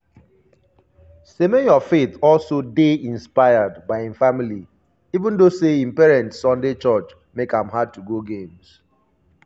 semenyo faith also dey inspired by im family even though say im parents' sunday church make am "hard to go games".